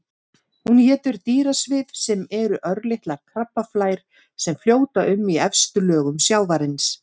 Hún étur dýrasvif sem eru örlitlar krabbaflær sem fljóta um í efstu lögum sjávarins.